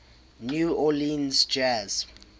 new orleans jazz